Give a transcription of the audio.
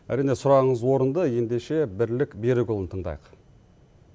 әрине сүрағыңыз орынды ендеше бірлік берікұлын тыңдайық